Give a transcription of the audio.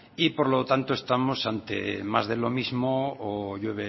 por lo tanto estamos ante más de lo mismo o llueve